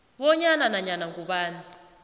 bonyana nanyana ngubani